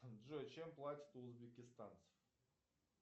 джой чем платят у узбекистанцев